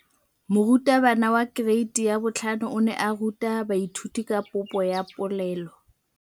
Moratabana wa kereiti ya 5 o ne a ruta baithuti ka popô ya polelô.